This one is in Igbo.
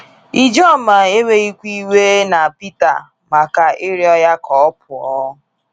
Ijoma enweghịkwa iwe na Pita maka ịrịọ ya ka ọ pụọ.